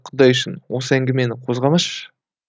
құдай үшін осы әңгімені қозғамашы